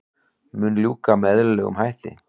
Mun ljúka með eðlilegum hætti